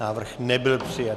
Návrh nebyl přijat.